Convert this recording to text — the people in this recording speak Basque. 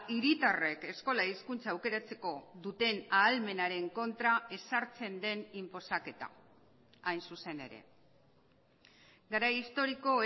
hiritarrek eskola hizkuntza aukeratzeko duten ahalmenaren kontra ezartzen den inposaketa hain zuzen ere garai historiko